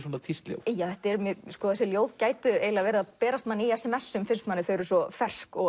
svona tístljóð þessi ljóð gætu verið að berast manni í s m s um finnst manni þau eru svo fersk og